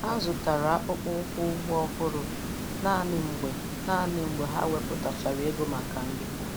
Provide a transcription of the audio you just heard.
Ha zụtara akpụkpọ ụkwụ ugbo ọhụrụ naanị mgbe naanị mgbe ha wepụtachara ego maka nri